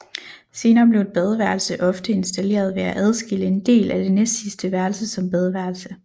Senere blev et badeværelse ofte installeret ved at adskille en del af det næstsidste værelse som badeværelse